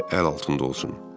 həmişə əl altında olsun.